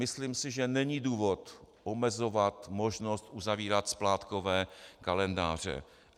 Myslím si, že není důvod omezovat možnost uzavírat splátkové kalendáře.